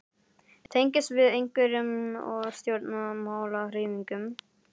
Tengist þið einhverjum stjórnmálahreyfingum?